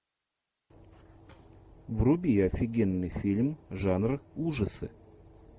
вруби офигенный фильм жанр ужасы